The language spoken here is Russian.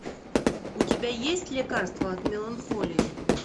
у тебя есть лекарство от меланхолии